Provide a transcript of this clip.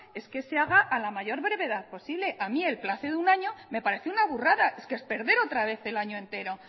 es que haga a la mayor brevedad posible a mí el plazo de un año me parece una burrada es que es perder otra vez el año entero